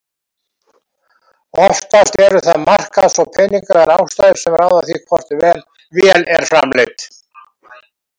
Oftast eru það markaðs- og peningalegar ástæður sem ráða því hvort vél er framleidd.